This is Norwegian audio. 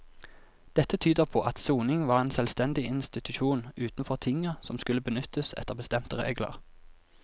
Dette tyder på at soning var en selvstendig institusjon utenfor tinget som skulle benyttes etter bestemte regler.